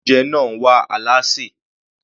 Ilé oúnjẹ náà wá alásè.